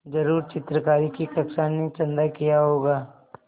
ज़रूर चित्रकारी की कक्षा ने चंदा किया होगा